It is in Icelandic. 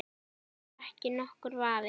Það er ekki nokkur vafi.